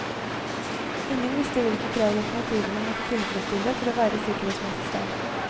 Ingen visste hvilke krav lokomotivene måtte tilfredsstille for å være i sikkerhetsmessig stand.